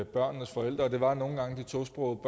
børnenes forældre og det var nogle gange de tosprogede